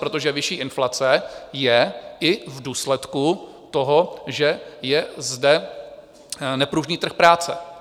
Protože vyšší inflace je i v důsledku toho, že je zde nepružný trh práce.